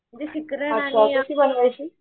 म्हणजे शिकरण आणि